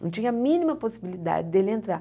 Não tinha a mínima possibilidade dele entrar.